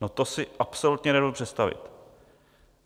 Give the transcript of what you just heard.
No to si absolutně nedovedu představit.